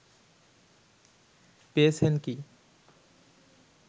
পেয়েছেন কি